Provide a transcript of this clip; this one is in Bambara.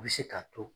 U bɛ se k'a to